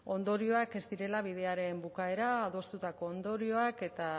ondorioak ez direla bidearen bukaera adostutako ondorioak eta